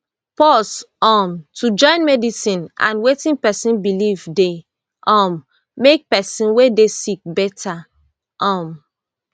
pause um to join medicine and wetin pesin believe dey um make pesin wey dey sick better um